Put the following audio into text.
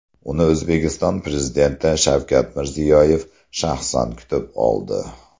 Uni O‘zbekiston Prezidenti Shavkat Mirziyoyev shaxsan kutib oldi .